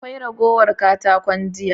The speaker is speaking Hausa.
Akwai ragowar katakon jiya?